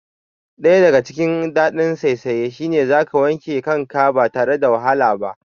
Daya daga cikin dadin saisaye shine zaka wanke kanka ba tare da ka wahala ba